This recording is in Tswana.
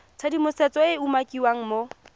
tshedimosetso e e umakiwang mo